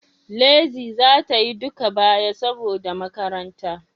Lizzy za ta Yi duka baya saboda makaranta.